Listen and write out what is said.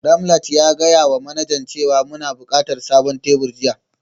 Ramat ya gaya wa manajan cewa muna buƙatar sabon tebur jiya